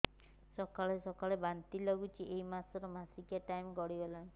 ସକାଳେ ସକାଳେ ବାନ୍ତି ଲାଗୁଚି ଏଇ ମାସ ର ମାସିକିଆ ଟାଇମ ଗଡ଼ି ଗଲାଣି